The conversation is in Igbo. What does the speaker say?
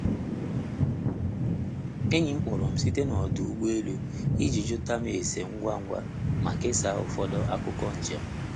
Enyi m kpọrọ m site na ọdụ ụgbọ elu i ji jụta m ese ngwa ngwa ma kesaa ụfọdụ akụkọ njem.